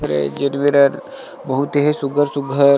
अरे हर बहुत ही सुग्घर-सुग्घर--